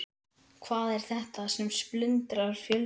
Hvað er þetta sem splundrar fjölskyldum?